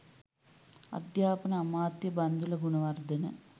අධ්‍යාපන අමාත්‍ය බන්ධුල ගුණවර්ධන